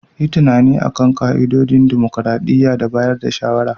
Yi tunani a kan ka'idodin dimokuradiyya da bayar da shawarwari.